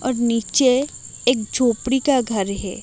और नीचे एक झोपड़ी का घर है।